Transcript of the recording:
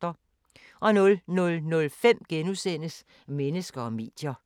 00:05: Mennesker og medier *